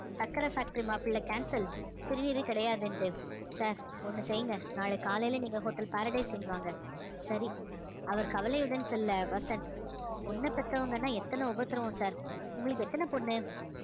சர்க்கரை factory மாப்பிளை cancel திருநீறு கிடையாதுன்னுட்டு sir ஒண்ணு செய்யுங்க நாளைக்கு காலையில நீங்க hotel paradise inn வாங்க சரி அவர் கவலையுடன் செல்ல வசந்த் பொண்ண பெத்தவங்கன்னா எத்தன உபத்திரவம் sir உங்களுக்கு எத்தன பொண்ணு